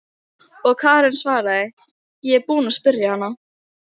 Og Karen svaraði: Ég er búin að spyrja hana.